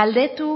galdetu